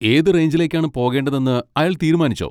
ഏത് റേഞ്ചിലേക്കാണ് പോകേണ്ടതെന്ന് അയാൾ തീരുമാനിച്ചോ?